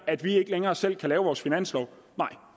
at vi ikke længere selv kan lave vores finanslov nej